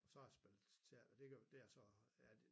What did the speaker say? Så har jeg spillet teater det gør det jeg så ja det